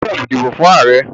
O gbódò dìbò fún ààrẹ!